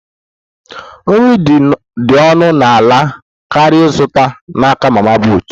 Nri dị ọnụ ala karịa ịzụta n'aka mama put